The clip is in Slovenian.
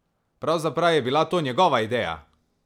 Pravzaprav je bila to njegova ideja!